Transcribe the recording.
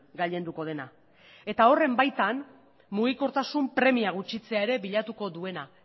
gailenduko dena eta horren baitan mugikortasun premia gutxitzea ere bilatuko duena